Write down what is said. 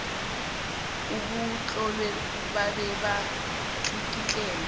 obutlolwe babe batlikitlelwa